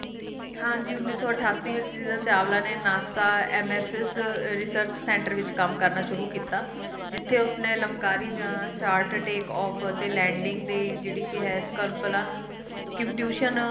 ਹਾਂਜੀ ਉੱਨੀ ਸੌ ਅਠਾਸੀ ਵਿੱਚ ਚਾਵਲਾ ਨੇ NASA nesc research centre ਵਿੱਚ ਕੰਮ ਕਰਨਾ ਸ਼ੁਰੂ ਕੀਤਾ ਜਿੱਥੇ ਉਸਨੇ ਲਮਕਾਰੀ ਜਾ shotkey of landing ਦੇ ਸਕਲਪਾ ਨੂੰ